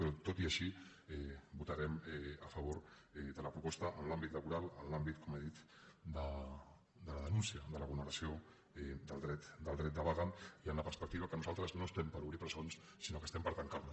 però tot i així votarem a favor de la proposta en l’àmbit laboral en l’àmbit com he dit de la denúncia de la vulneració del dret de vaga i en la perspectiva que nosaltres no estem per obrir presons sinó que estem per tancar les